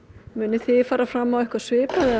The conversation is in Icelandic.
munið þið fara fram á eitthvað svipað eða